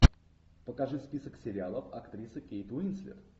покажи список сериалов актрисы кейт уинслет